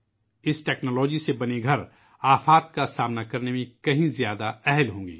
اس technology سے بنائے گئے گھر آفات کا سامنا کرنے کے کہیں زیادہ اہل ہوں گے